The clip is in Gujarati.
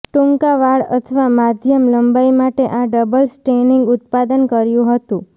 ટૂંકા વાળ અથવા માધ્યમ લંબાઈ માટે આ ડબલ સ્ટેનિંગ ઉત્પાદન કર્યું હતું